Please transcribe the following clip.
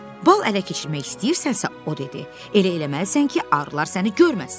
Bal ələ keçirmək istəyirsənsə, o dedi, elə eləməlisən ki, arılar səni görməsin.